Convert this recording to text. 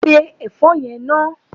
Se ẹ̀fọ́ náà!